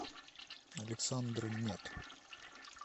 александр нет